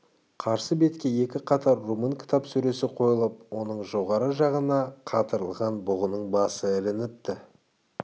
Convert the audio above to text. қарсы бетке екі қатар румын кітап сөресі қойылып оның жоғарғы жағына қатырылған бұғының басы ілініпті